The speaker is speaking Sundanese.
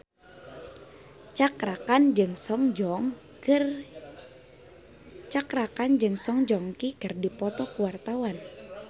Cakra Khan jeung Song Joong Ki keur dipoto ku wartawan